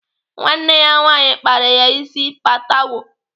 Nwanne ya nwaanyị kpara ya ịsị patewo.